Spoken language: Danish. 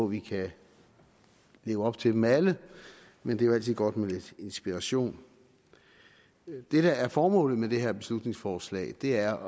vi kan leve op til dem alle men det er jo altid godt med lidt inspiration det der er formålet med det her beslutningsforslag er